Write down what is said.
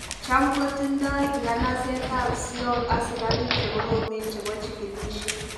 Chamkotindoi nganaset ab Seoul asikarik chekorom chebo chikilisiet